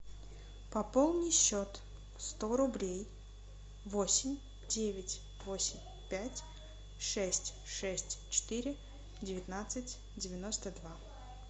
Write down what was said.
пополни счет сто рублей восемь девять восемь пять шесть шесть четыре девятнадцать девяносто два